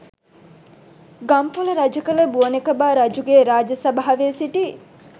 ගම්පොළ රජකළ බුවනෙකබා රජුගේ රාජ සභාවේ සිටි